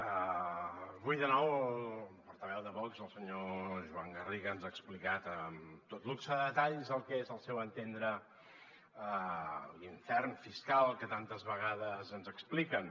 avui de nou el portaveu de vox el senyor joan garriga ens ha explicat amb tot luxe de detalls el que és al seu entendre l’infern fiscal que tantes vegades ens expliquen